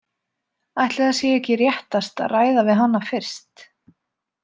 Ætli það sé ekki réttast að ræða við hana fyrst?